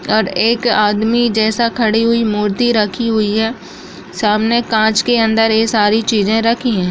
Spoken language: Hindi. और एक आदमी जैसा खड़ी हुई मूर्ति रखी हुई है सामने कांच के अंदर ये सारी चीजें रखीं हैं।